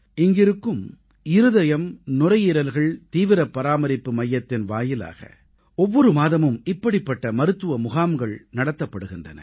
இங்கிருக்கும் இருதயம் நுரையீரல்கள் தீவிரப் பராமரிப்பு மையத்தின் வாயிலாக ஒவ்வொரு மாதமும் இப்படிப்பட்ட மருத்துவ முகாங்கள் நடத்தப்படுகின்றன